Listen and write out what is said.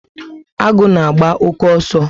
Agu na agba-oke ọsọ